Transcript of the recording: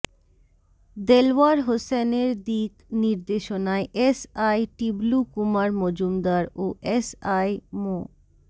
দেলওয়ার হোসেনের দিক নির্দেশনায় এস আই টিবলু কুমার মজুমদার ও এস আই মো